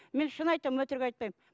мен шын айтамын өтірік айтпаймын